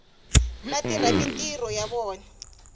va tirha mintirho ya vona